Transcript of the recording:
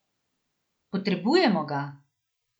Potrebujemo ga!